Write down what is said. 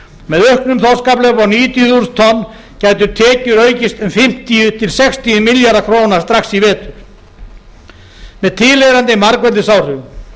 með auknum þorskafla upp á níutíu þúsund tonn gætu tekjur aukist um fimmtíu til sextíu milljarða króna strax í vetur með tilheyrandi margfeldisáhrifum